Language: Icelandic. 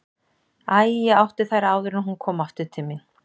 Æ, ég átti þær áður en hún kom aftur til mín.